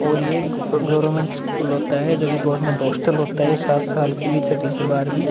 और ये एक गवर्नमेंट स्कूल होता है जो गवर्नमेंट हॉस्टल होता है। सात साल के लिए छठी से बारहवीं।